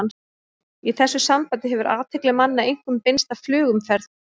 Í þessu sambandi hefur athygli manna einkum beinst að flugumferð.